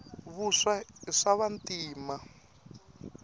vuswa i swava ntima